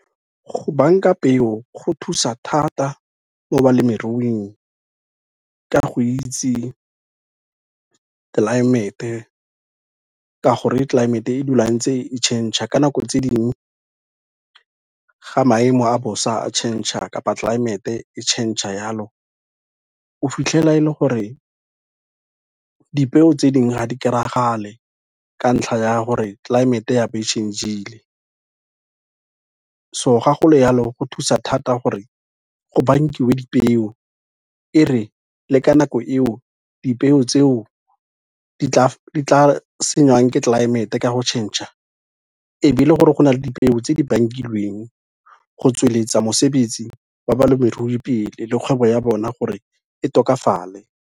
Go banka peo go thusa thata mo balemiruing ka go itse tlelaemete, ka gore tlelaemete e dula ntse e change-a ka nako tse dingwe, ga maemo a bosa a change-a kapa tlelaemete e change-a jalo, o fitlhela e le gore dipeo tse dingwe ga di kry-a ga le, ka ntlha ya gore tlelaemete ya be e change-ile, so ga go le yalo go thusa thata gore go bankiwe dipeo, e re le ka nako eo dipeo tseo di tla sengwang ke tlelaemete ka go change-a e be e le gore go na le dipeo tse di bankilweng go tsweletsa mosebetsi oa ba lemerui pele le kgwebo ya bona gore e tokafale.